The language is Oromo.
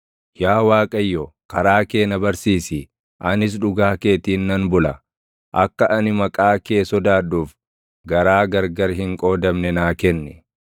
Yaa Waaqayyo, karaa kee na barsiisi; anis dhugaa keetiin nan bula; akka ani maqaa kee sodaadhuuf, garaa gargar hin qoodamne naa kenni.